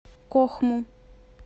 кохму